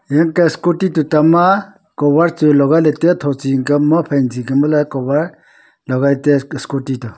en ka scooty toh tuita ma cover chu legai lah tai a tho chi ang ka phai chi ang ka ma leh cover legai lah taiya scooty toh.